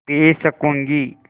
P सकँूगी